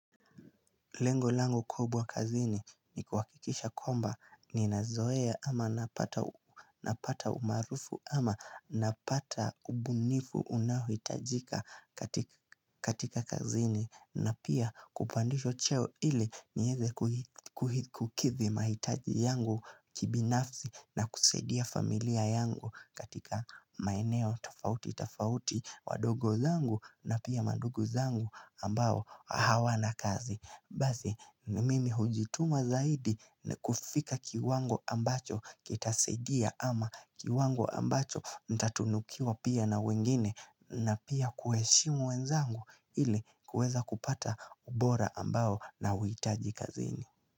Lengo langu kubwa kazini ni kuhakikisha kwamba ni nazoea ama napata napata umaarufu ama napata ubunifu unaohitajika katik katika kazini na pia kupandishwa cheo ili nieze kuhi kuhi kukidhi mahitaji yangu kibinafsi na kusaidia familia yangu katika maeneo tofauti tofauti wadogo zangu na pia mandungu zangu ambao hawana kazi Basi ni mimi hujituma zaidi ni kufika kiwango ambacho kitasaidia ama kiwango ambacho ntatunukiwa pia na wengine na pia kuheshimu wenzangu ili kueza kupata ubora ambao nauhitaji kazini.